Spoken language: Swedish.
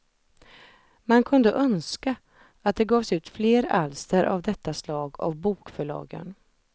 Man kunde önska att det gavs ut fler alster av detta slag av bokförlagen.